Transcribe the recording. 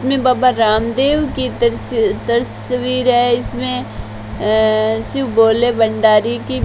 इसमें बाबा रामदेव की तस तस्वीर है इसमें अ शिव भोले भंडारी की --